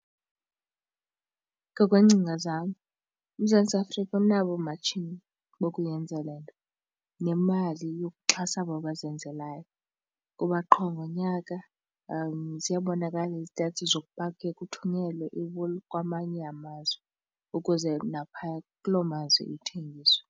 Ngokweengcinga zam uMzantsi Afrika unabo oomatshini bokuyenzan le nto nemali yokuxhasa abo bazenzelayo kuba qho ngonyaka ziyabonakala i-stats zokuba kuye kuthunyelwe iwuli kwamanye amazwe ukuze naphaya kulo mazwi ithengiswe.